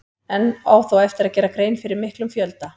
Enn á þó eftir að gera grein fyrir miklum fjölda.